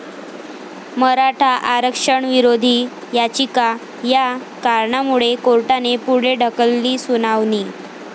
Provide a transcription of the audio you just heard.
मराठा आरक्षणविरोधी याचिका, 'या' कारणामुळे कोर्टाने पुढे ढकलली सुनावणी